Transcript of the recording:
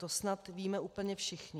To snad víme úplně všichni.